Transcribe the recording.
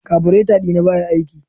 kabureta dina baya aiki.